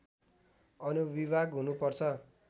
अनुविभाग हुनु पर्छ